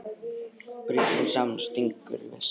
Brýtur hann saman og stingur í veskið.